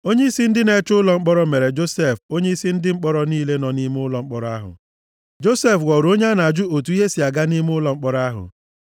Onyeisi ndị na-eche ụlọ mkpọrọ mere Josef onyeisi ndị mkpọrọ niile nọ nʼime ụlọ mkpọrọ ahụ. Josef ghọrọ onye a na-ajụ otu ihe si aga nʼime ụlọ mkpọrọ ahụ.